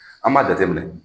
An b'a jateminɛ